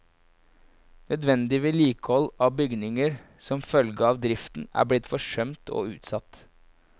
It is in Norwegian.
Nødvendig vedlikehold av bygninger som følge av driften er blitt forsømt og utsatt.